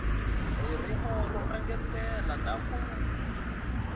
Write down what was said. ririmi ro engetela na ku